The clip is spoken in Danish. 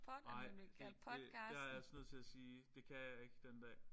Nej ikke det der er jeg altså nødt til at sige det kan jeg ikke den dag